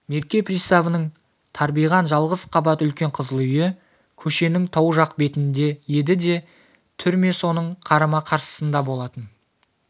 мерке приставының тарбиған жалғыз қабат үлкен қызыл үйі көшенің тау жақ бетінде еді де түрме соның қарама-қарсысында болатын